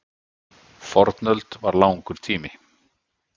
Fornöld var langur tími.